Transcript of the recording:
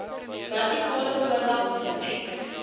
vertikale oordrag besmet